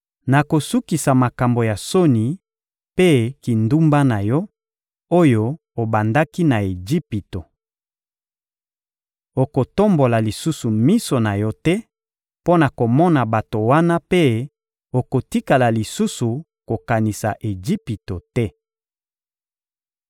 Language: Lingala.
Nakosukisa makambo ya soni mpe kindumba na yo, oyo obandaki na Ejipito. Okotombola lisusu miso na yo te mpo na komona bato wana mpe okotikala lisusu kokanisa Ejipito te.